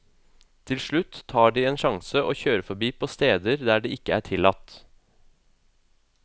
Til slutt tar de en sjanse og kjører forbi på steder der det ikke er tillatt.